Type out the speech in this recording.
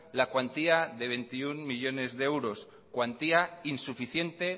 la cuantía de veintiuno millónes de euros cuantía insuficiente